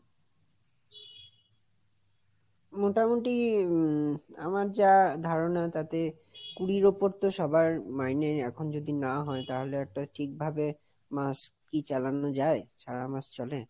মোটামুটি উম আমার যা ধারণা তাতে কুড়ির ওপর তো সবার মাইনে এখন যদি না হয় তাহলে একটা ঠিক ভাবে মাস কি চালানো যায় সারা মাস চলে?